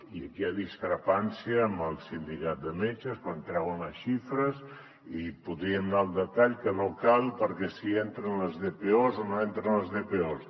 i aquí hi ha discrepància amb el sindicat de metges quan treuen les xifres i podríem anar al detall que no cal perquè si hi entren les dpos o no hi entren les dpos